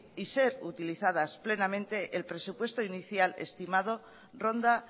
y ser utilizadas plenamente el presupuesto inicial estimado ronda